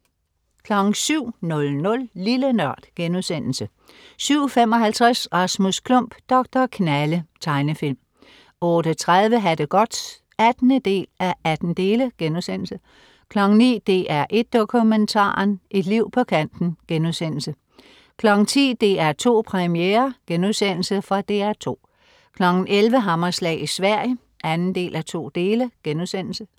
07.00 Lille NØRD* 07.55 Rasmus Klump. Doktor Knalle. Tegnefilm 08.30 Ha' det godt 18:18* 09.00 DR1 Dokumentaren: Et liv på kanten* 10.00 DR2 Premiere.* Fra DR2 11.00 Hammerslag i Sverige 2:2*